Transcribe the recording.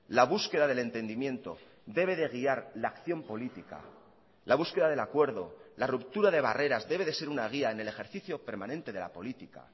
la búsqueda del entendimiento debe de guiar la acción política la búsqueda del acuerdo la ruptura de barreras debe de ser una guía en el ejercicio permanente de la política